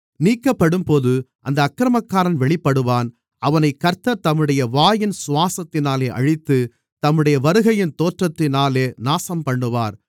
நீக்கப்படும்போது அந்த அக்கிரமக்காரன் வெளிப்படுவான் அவனைக் கர்த்தர் தம்முடைய வாயின் சுவாசத்தினாலே அழித்து தம்முடைய வருகையின் தோற்றத்தினாலே நாசம்பண்ணுவார்